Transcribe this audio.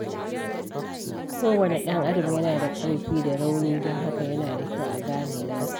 Kowane ɗan adam yana da ƙarfi da rauni, don haka yana da kyau a gane nasa.